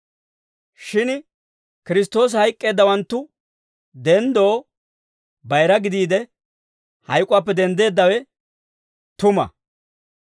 Shin Kiristtoosi hayk'k'eeddawanttu denddoo bayira gidiide, hayk'uwaappe denddeeddawe tuma.